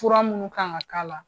Fura minnu kan ka k'a la.